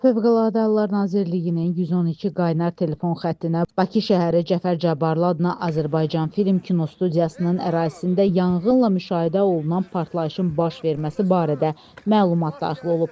Fövqəladə Hallar Nazirliyinin 112 qaynar telefon xəttinə Bakı şəhəri Cəfər Cabbarlı adına Azərbaycan Film Kinostudiyasının ərazisində yanğınla müşahidə olunan partlayışın baş verməsi barədə məlumat daxil olub.